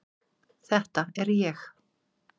Þetta er ég.